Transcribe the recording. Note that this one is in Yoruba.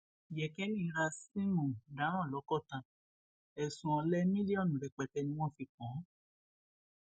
yékéǹní ra síìmù daran lọkọta ẹsùn ọlẹ mílíọnù rẹpẹtẹ ni wọn fi kàn án